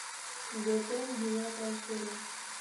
готэм девятая серия